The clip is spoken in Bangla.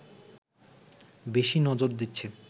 বেশি নজর দিচ্ছে